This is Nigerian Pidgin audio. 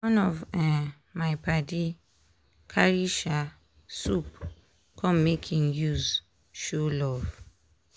one of um my padi carry um soup come make im use show love.